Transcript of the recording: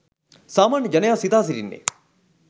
සාමාන්‍ය ජනයා සිතා සිටින්නේ